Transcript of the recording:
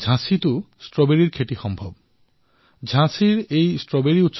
ঝাঁচীৰ strawberry উৎসৱত stay at home concept ত গুৰুত্ব প্ৰদান কৰা হৈছে